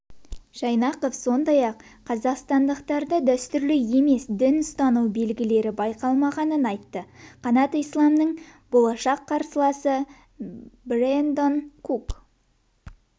жайнақов сондай-ақ қазақстандықтарда дәстүрлі емес дін ұстану белгілері байқалмағанын айтты қанат исламның болашақ қарсыласы брэндон кук